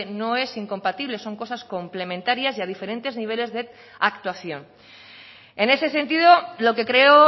no es incompatible son cosas complementarias y a diferentes niveles de actuación en ese sentido lo que creo